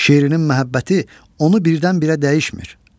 Şirinin məhəbbəti onu birdən-birə dəyişmir.